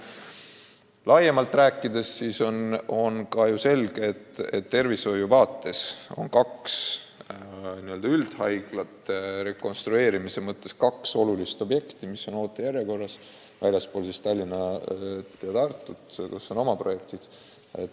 Kui laiemalt rääkida, siis on ju selge, et meil on kaks üldhaiglat, rekonstrueerimise mõttes kaks olulist objekti, mis on ootejärjekorras väljaspool Tallinna ja Tartut, kus on oma projektid.